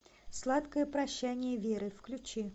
сладкое прощание веры включи